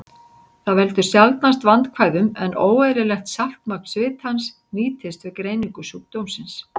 Það veldur sjaldnast vandkvæðum, en óeðlilegt saltmagn svitans nýtist við greiningu sjúkdómsins.